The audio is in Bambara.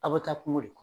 Aw bɛ taa kungo de kɔnɔ